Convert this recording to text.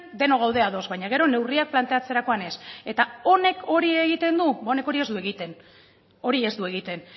denok gaude ados baina gero neurriak planteatzerakoan ez eta honek hori egiten du ba honek hori ez du egiten hori ez du egiten